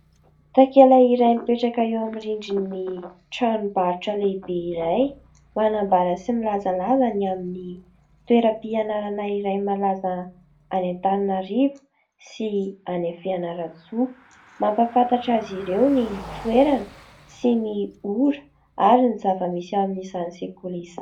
Takela iray mipetraka eo amin'ny rindriny tranombarotra lehibe iray ; manambara sy milazalaza ny amin'ny toera-pianarana iray malaza any Antananarivo sy any Fianarantsoa, mampafantatra azy ireo ny toerana sy ny ora ary ny zava-misy amin'izany sekoly izany.